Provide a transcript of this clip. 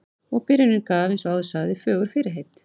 Og byrjunin gaf, eins og áður sagði, fögur fyrirheit.